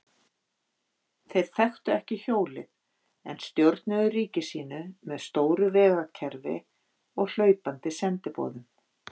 Þeir þekktu ekki hjólið en stjórnuðu ríki sínu með stóru vegakerfi og hlaupandi sendiboðum.